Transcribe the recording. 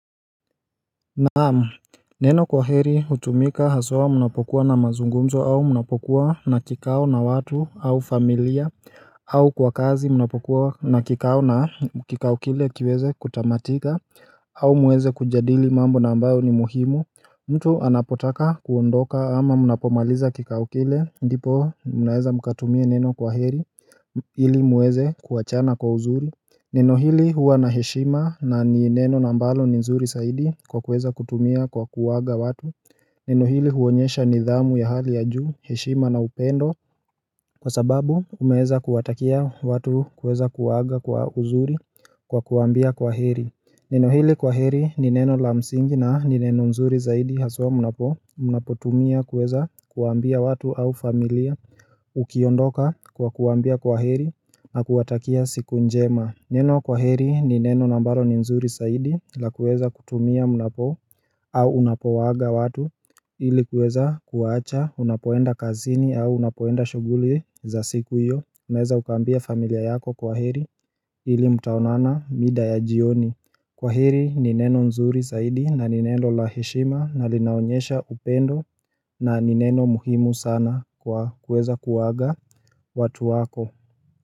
Naam neno kwaheri hutumika haswa munapokuwa na mazungumzo au munapokuwa na kikao na watu au familia au kwa kazi munapokuwa na kikao na kikao kile kiweze kutamatika au muweze kujadili mambo na ambayo ni muhimu mtu anapotaka kuondoka ama munapomaliza kikao kile ndipo munaeza mkatumia neno kwaheri ili muweze kuachana kwa uzuri Neno hili huwa na heshima na ni neno na ambalo ni nzuri saidi kwa kuweza kutumia kwa kuaga watu Neno hili huonyesha nidhamu ya hali ya juu heshima na upendo Kwa sababu umeeza kuwatakia watu kueza kuwaaga kwa uzuri kwa kuwaambia kwa heri Neno hili kwa heri ni neno la msingi na ni neno nzuri zaidi haswa munapo Munapo tumia kuweza kuambia watu au familia Ukiondoka kwa kuwaambia kwa heri na kuwatakia siku njema Neno kwa heri ni neno na ambaro ni nzuri saidi la kueza kutumia mnapo au unapowaaga watu ili kueza kuwaacha unapoenda kazini au unapoenda shughuli za siku iyo Unaeza ukaambia familia yako kwa heri ili mtaonana mida ya jioni Kwa heri ni neno nzuri saidi na ni neno laheshima na linaonyesha upendo na ni neno muhimu sana kwa kueza kuwaga watu wako.